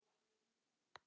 En ég stóð mig vel.